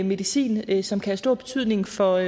medicin som kan have stor betydning for